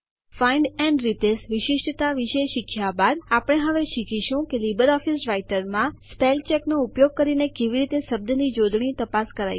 find and replace વિશિષ્ટતા વિશે શીખ્યા બાદ આપણે હવે શીખીશું કે લીબર ઓફીસ રાઈટરમાં Spellcheckનો ઉપયોગ કરીને કેવી રીતે શબ્દ જોડણીની તપાસ કરાય છે